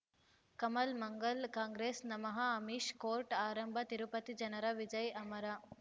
Kamal Mangal Congress ನಮಃ Amish court ಆರಂಭ ತಿರುಪತಿ ಜನರ ವಿಜಯ ಅಮರ